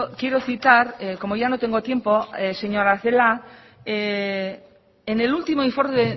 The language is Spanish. quiero citar como ya no tengo tiempo señora celaá en el último informe